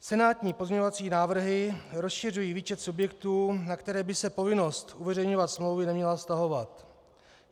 Senátní pozměňovací návrhy rozšiřují výčet subjektů, na které by se povinnost uveřejňovat smlouvy neměla vztahovat.